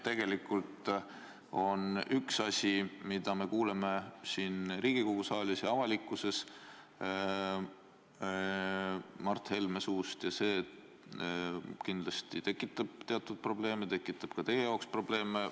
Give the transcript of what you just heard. Tegelikult me kuuleme siin Riigikogu saalis ja ka avalikkuses Mart Helme suust asju, mis kindlasti tekitavad teatud probleeme, tekitavad ka teie jaoks probleeme.